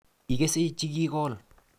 Igese chikikol